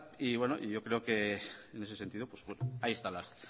yo creo que en ese sentido pues ahí están